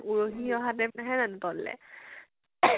উলমি আহা type নাহে জানো তললৈ?